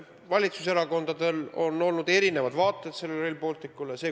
Valitsuserakondadel on olnud erinevad vaated Rail Balticule.